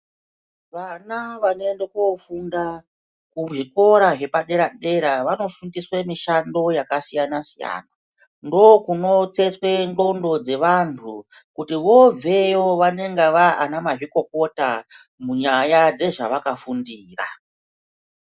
Vana vanoende kofunda kuzvikora zvepadera dera vanofundiswe mishando yakasiyanasiyana ndokuno tsetsetswe nxlondo dzeanhu kuti vobveyo vanenge vavanamazvikokota munyaya dzezvavakafundira.